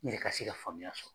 Ne yɛrɛ ka se ka faamuya sɔrɔ.